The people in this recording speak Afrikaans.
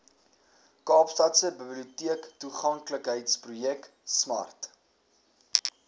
kaapstadse biblioteektoeganklikheidsprojek smart